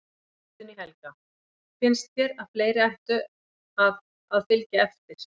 Guðný Helga: Finnst þér að fleiri ættu að, að fylgja eftir?